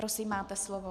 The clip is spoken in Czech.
Prosím, máte slovo.